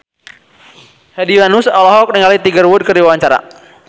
Hedi Yunus olohok ningali Tiger Wood keur diwawancara